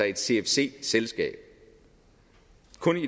et cfc selskab